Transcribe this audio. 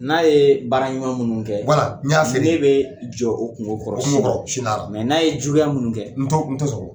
N'a ye baara ɲuman minnu, wala, n y'a f'i ye ten, ne bɛ jɔ o kungo kɔrɔ sini, o kungo kɔrɔ sini lahara, mɛ n'a ye juguya minnu kɛ, n t'o n t'o